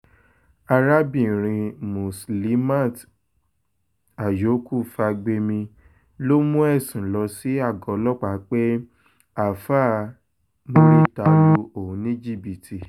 arábìnrin muslimat àyókù fagbemi ló mú ẹ̀sùn lọ sí àgọ́ ọlọ́pàá pé àáfà murità lu òun ní jìbìtì